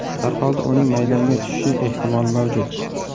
Har holda uning maydonga tushishi ehtimol mavjud.